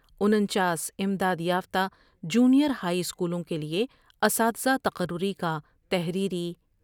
انچاس امداد یافتہ جونیر ہائی اسکولوں کے لئے اساتزہ تقرری کا تحریری